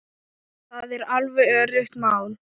Það er alveg öruggt mál.